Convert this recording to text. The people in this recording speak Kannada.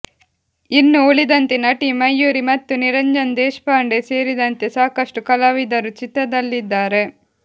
ಇನ್ನು ಉಳಿದಂತೆ ನಟಿ ಮಯೂರಿ ಮತ್ತು ನಿರಂಜನ್ ದೇಶಪಾಂಡೆ ಸೇರಿದಂತೆ ಸಾಕಷ್ಟು ಕಲಾವಿದರು ಚಿತ್ರದಲ್ಲಿದ್ದಾರೆ